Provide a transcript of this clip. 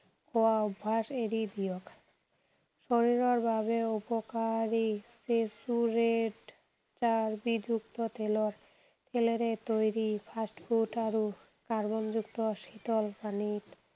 খোৱা অভ্যাস এৰি দিয়ক। শৰীৰৰ বাবে উপকাৰী saturate চাৰ্বিযুক্ত তেলৰ, তেলেৰে তৈৰী fast food আৰু কাৰ্বনযুক্ত শীতল পানীত